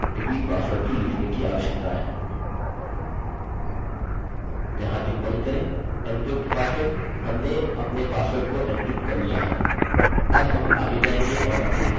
मैं यह करने जा रहा हूँ क्योंकि हमें हमारा डेटा मिल गया है जो पंजीकरण के लिए जा रहा है हम प्रत्येक डेटा के लिए एक अधिकतम सीमा निर्धारित करने जा रहे हैं जोकि इनपुट है